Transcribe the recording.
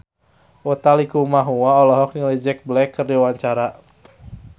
Utha Likumahua olohok ningali Jack Black keur diwawancara